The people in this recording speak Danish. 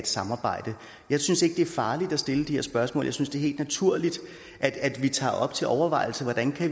samarbejde jeg synes ikke det er farligt at stille de her spørgsmål jeg synes det er helt naturligt at vi tager op til overvejelse hvordan